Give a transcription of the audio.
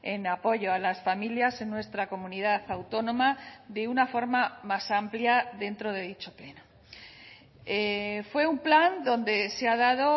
en apoyo a las familias en nuestra comunidad autónoma de una forma más amplia dentro de dicho pleno fue un plan donde se ha dado